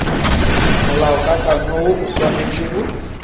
molaokakanywa woo o swanetše go